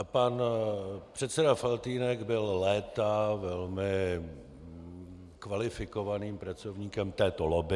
A pan předseda Faltýnek byl léta velmi kvalifikovaným pracovníkem této lobby.